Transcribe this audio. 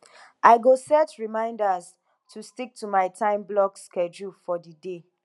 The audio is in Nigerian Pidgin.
i go set reminders to stick to my timeblock schedule for the day